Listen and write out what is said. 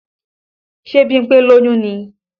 Ṣe Bímpé lóyún ni?